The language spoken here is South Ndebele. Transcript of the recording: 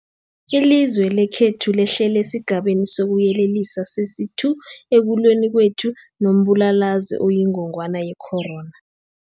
Ilizwe lekhethu lehlele esiGabeni sokuYelelisa sesi-2 ekulweni kwethu nombulalazwe oyingogwana ye-corona.